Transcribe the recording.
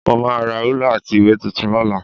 Mo máa ra rúlà àti ìwé tuntun lọ́la